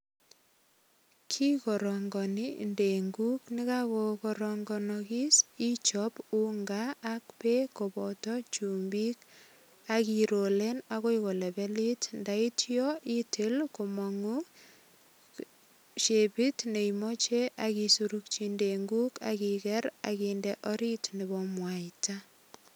Kikorongoni ndenguk ndakakokaronganis ichop ungaak beek kobotochumbik ak irolen agoi kolebelit ndaityo itil komangu shepit ne imoche akisorokchi ndenguk ak iger ak inde orit nebo mwaita.